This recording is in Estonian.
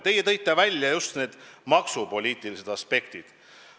Teie tõite välja just maksupoliitilised aspektid.